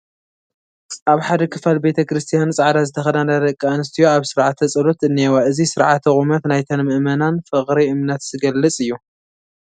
ኣብ ሓደ ክፋል ቤተ ክርስቲያን ፃዕዳ ዝተኸደና ደቂ ኣንስትዮ ኣብ ስርዓተ ፀሎት እኔዋ፡፡ እዚ ስርዓተ ቁመት ናይተን ምእመናን ፍቕሪ እምነት ዝገልፅ እዩ፡፡